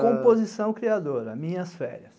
Composição criadora, minhas férias.